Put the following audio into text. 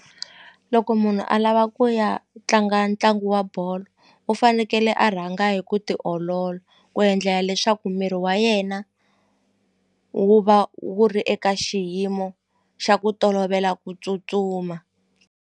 Loko munhu a lava ku ya tlanga ntlangu wa bolo u fanekele a rhanga hi ku tiolola ku endlela leswaku miri wa yena wu va wu ri eka xiyimo xa ku tolovela ku tsutsuma.